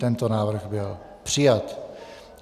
Tento návrh byl přijat.